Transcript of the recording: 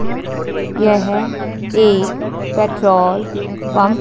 येह एक petrol pump --